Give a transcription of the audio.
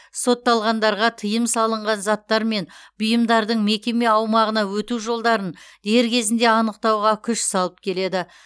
сотталғандарға тыйым салынған заттар мен бұйымдардың мекеме аумағына өту жолдарын дер кезінде анықтауға күш салып келеді